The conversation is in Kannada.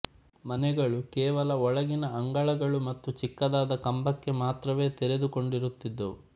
ಮನೆಗಳು ಕೇವಲ ಒಳಗಿನ ಅಂಗಳಗಳು ಮತ್ತು ಚಿಕ್ಕದಾದ ಕಂಬಕ್ಕೆ ಮಾತ್ರವೇ ತೆರೆದುಕೊಂಡಿರುತ್ತಿದ್ದವು